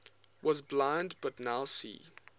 was blind but now see